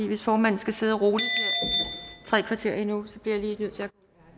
hvis formanden skal sidde roligt tre kvarter endnu så bliver jeg lige nødt til